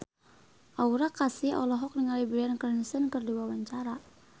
Aura Kasih olohok ningali Bryan Cranston keur diwawancara